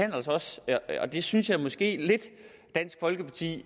jo altså også og det synes jeg måske lidt at dansk folkeparti